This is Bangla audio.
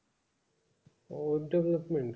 O web development